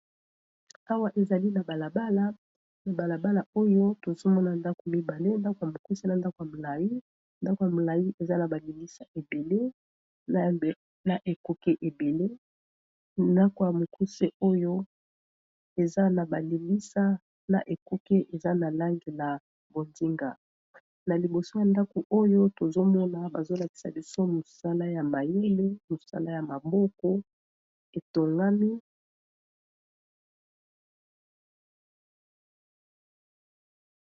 Awa ezali na balabala na balabala oyo tozomona ndako mibale ndako ya mokuse na ndako ya molai ndako ya molai eza na balilisa ebele na ekuke ebele ndako ya mokuse oyo eza na balilisa na ekuke eza na lange na bondinga na liboso ya ndako oyo tozomona bazolakisa biso mosala ya mayele mosala ya maboko etongami